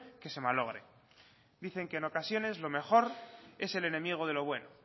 que se malogre dicen que en ocasiones lo mejor es el enemigo de lo bueno